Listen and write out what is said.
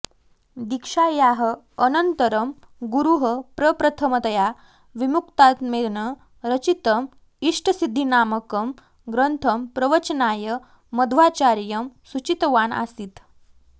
दीक्षायाः अनन्तरं गुरुः प्रप्रथमतया विमुक्तात्मेन रचितं इष्टसिद्धिनामकं ग्रन्थं प्रवचनाय मध्वाचार्यं सूचितवान् आसीत्